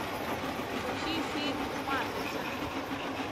включи фильм матрица